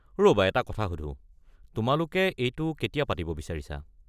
ৰ'বা এটা কথা সুধো, তোমালোকে এইটো কেতিয়া পাতিব বিচাৰিছা?